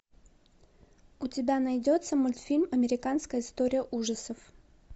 у тебя найдется мультфильм американская история ужасов